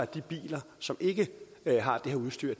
de biler som ikke har det her udstyr